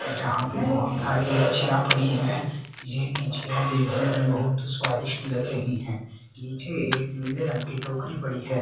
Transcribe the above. जहां पे बहोत सारी लीचियां पड़ी है ये लीचियां देखने में बहुत स्वादिष्ट लग रही है नीचे एक नीले रंग की टोकरी पड़ी है।